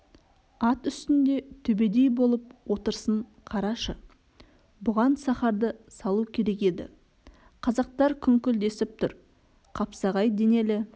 ат үстінде төбедей болып отырысын қарашы бұған сахарды салу керек еді қазақтар күңкілдесіп тұр қапсағай денелі